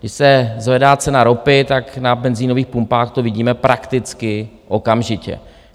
Když se zvedá cena ropy, tak na benzinových pumpách to vidíme prakticky okamžitě.